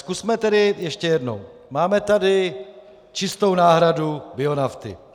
Zkusme tedy ještě jednou - máme tady čistou náhradu bionafty.